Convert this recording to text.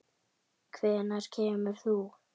Hvenær kemur þú?